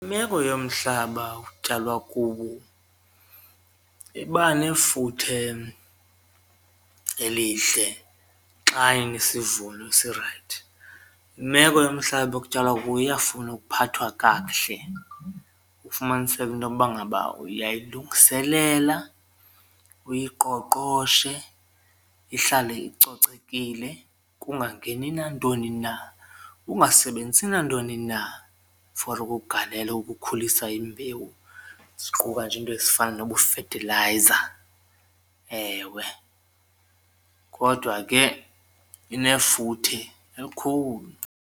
Imeko yomhlaba okutyalwa kuwo iba nefuthe elihle xa inesivuno esirayithi, imeko yomhlaba ekutyalwa kuwo iyafuna ukuphathwa kakuhle ufumaniseke intoba ngaba uyayilungiselela uyiqoqhoshe ihlale icocekile kungangeni nantoni na, ungasebenzisi nantoni na for ukugalela ukukhulisa imbewu ziquka nje iinto ezifana nobufethilayiza. Ewe, kodwa ke inefuthe elikhulu.